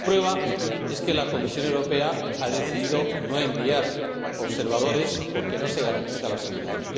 La prueba es que la Comisión Europea ha decidido no enviar observadores porque no se garantiza la seguridad.